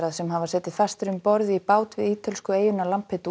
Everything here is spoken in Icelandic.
sem hafa setið fastir um borð í bát við ítölsku eyjuna